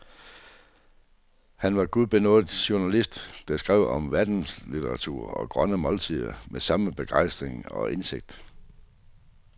Han var en gudbenådet journalist, der skrev om verdenslitteratur og skønne måltider med samme begejstring og indsigt.